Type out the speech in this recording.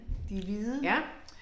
Ja